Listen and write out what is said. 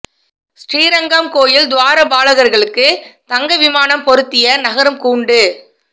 ஸ்ரீரங்கம் கோயில் துவார பாலகா்களுக்கு தங்க விமானம் பொருத்திய நகரும் கூண்டு